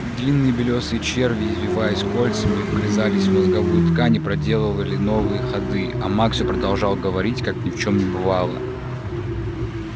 длинные белёсые черви извиваясь кольцами вгрызались в мозговую ткань и проделывали новые ходы а маг всё продолжал говорить как ни в чём не бывало